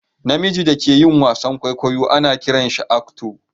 Na mijin da ke yin wasan kwaikwayo ana kiran shi "actor"